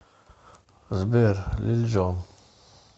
сбер лил джон